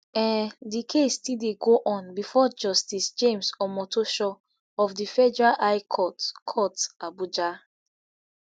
um di case still dey go on bifor justice james omotosho of di federal high court court abuja